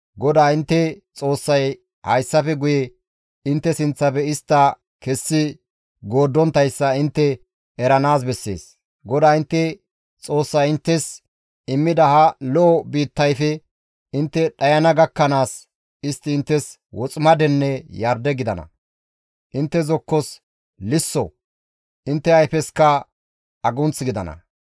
GODAA intte Xoossay hayssafe guye intte sinththafe istta kessi gooddonttayssa intte eranaas bessees; GODAA intte Xoossay inttes immida ha lo7o biittayfe intte dhayana gakkanaas istti inttes woximadenne yarde gidana; intte zokkos lisso, intte ayfesikka agunth gidana.